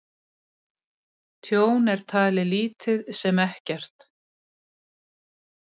Tjón er talið lítið sem ekkert